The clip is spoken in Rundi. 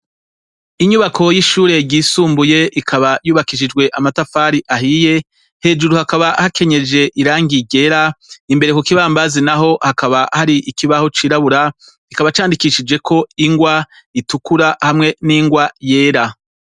Inyubako yishure ryisumbuye rikaba ryubakishijwe amatafari ahiye, hejuru hakaba hakenyeje irangi ryera, imbere kukibambazi naho hakaba hari ikibaho cirabura, kikaba candikishijeko ingwa itukura hamwe n'ingwa yera.